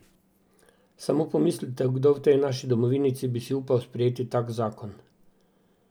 Samo pomislite, kdo v tej naši domovinici bi si upal sprejeti tak zakon?